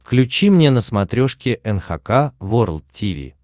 включи мне на смотрешке эн эйч кей волд ти ви